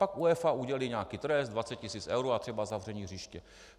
Pak UEFA udělí nějaký trest 20 tisíc eur a třeba zavření hřiště.